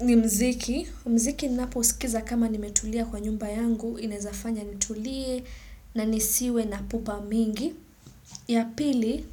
ni mziki. Mziki ninapousikiza kama nimetulia kwa nyumba yangu. Inezafanya nitulie na nisiwe na pupa mingi. Ya pili,